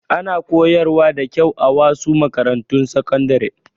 Ana koyarwa da kyau a wasu makarantun sakandare.